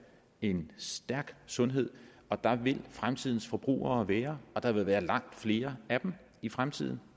en stærk sundhed og der vil fremtidens forbrugere være og der vil være langt flere af dem i fremtiden